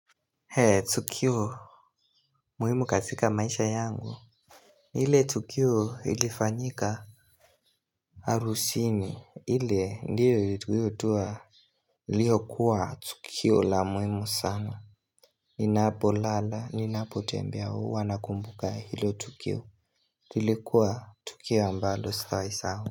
Eeenh tukio muhimu katika maisha yangu ile tukio ilifanyika harusini ile ndiyo iliyokuwa tukio la muhimu sana Ninapolala ninapotembea huwa nakumbuka ilo tukio, ilikuwa tukio ambalo sitawai sahau.